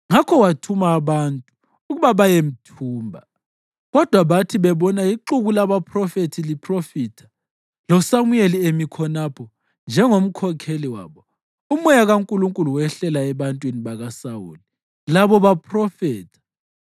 Ngakho wathuma abantu ukuba bayemthumba. Kodwa bathi bebona ixuku labaphrofethi liphrofitha, loSamuyeli emi khonapho njengomkhokheli wabo, uMoya kaNkulunkulu wehlela ebantwini bakaSawuli labo baphrofetha.